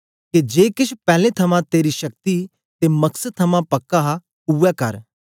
के जे केछ पैलैं थमां तेरी शक्ति ते मकसद थमां पक्का हा उवै करै